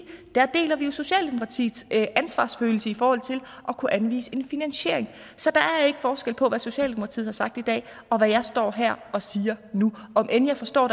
der deler vi jo socialdemokratiets ansvarsfølelse i forhold til at kunne anvise en finansiering så der er ikke forskel på hvad socialdemokratiet har sagt i dag og hvad jeg står her og siger nu om end jeg forstår